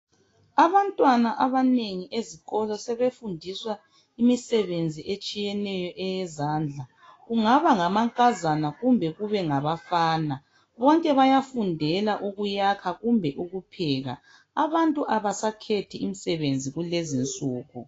Abantwana abanengi ezikolo sebefundiswa imisebenzi etshiyeneyo eyezandla, kungaba ngamankazana kumbe kube ngabafana bonke bayafundela ukuyakha bonke bayafundela ukupheka, abantu abasakhethi imisebenzi kulezi insuku.